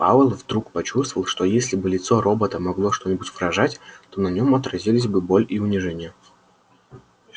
пауэлл вдруг почувствовал что если бы лицо робота могло что-нибудь выражать то на нем отразились бы боль и унижение